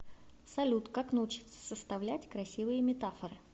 салют как научиться составлять красивые метафоры